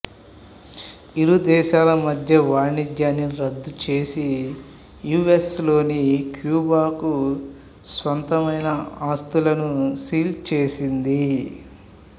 ఇరుదేశాల మద్య వాణిజ్యాన్ని రద్దు చేసి యు ఎస్ లోని క్యూబాకు స్వంతమైన ఆస్తులను సీల్ చేసింది